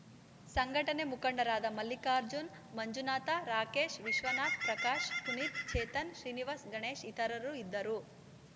ಸಂಘಟನೆ ಮುಖಂಡರಾದ ಮಲ್ಲಿಕಾರ್ಜುನ ಮಂಜುನಾಥ ರಾಕೇಶ ವಿಶ್ವನಾಥ ಪ್ರಕಾಶ ಪುನೀತ ಚೇತನ್‌ ಶ್ರೀನಿವಾಸ ಗಣೇಶ ಇತರರು ಇದ್ದರು